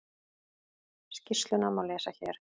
Skýrsluna má lesa hér